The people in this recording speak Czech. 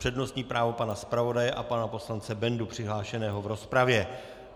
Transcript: Přednostní právo pana zpravodaje a pana poslance Bendu přihlášeného v rozpravě.